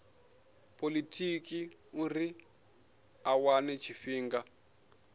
polotiki uri a wane tshifhinga